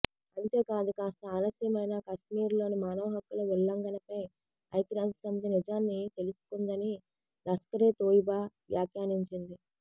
అంతేకాదు కాస్త ఆలస్యమైనా కశ్మీర్లో మానవ హక్కుల ఉల్లంఘనపై ఐక్యరాజ్యసమితి నిజాన్ని తెలుసుకుందని లష్కరే తోయిబా వ్యాఖ్యానించింది